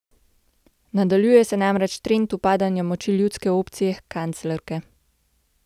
Nadaljuje se namreč trend upadanja moči ljudske opcije kanclerke.